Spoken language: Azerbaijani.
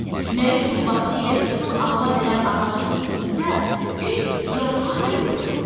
Nə üçün vaxtilə qızıl alma verən ağacın üstündə heç yarpaq da yoxdur?